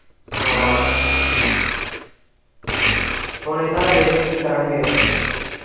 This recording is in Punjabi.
ਹਾਂ ਹੁਣ ਇਹਨਾਂ ਦਾ ਵੇਖਣੇ ਕੀ ਕਰਨਗੇ ਇਹ।